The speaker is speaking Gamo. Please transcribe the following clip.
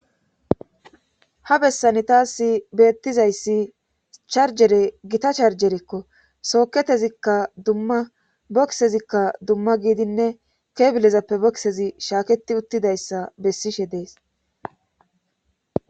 ha bessani taassi beettizayssi charjere gita charjerekko sooketezikka dumma bokisezikka dumma giidinne keebilezappe boksezi shaaketi uttidayssa bessishe dees